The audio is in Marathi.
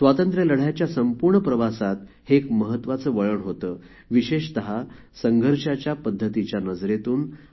स्वातंत्र्यलढ्याच्या संपूर्ण प्रवासात हे एक महत्वाचे वळण होते विशेषत संघर्षाच्या पद्धतीच्या नजरेतून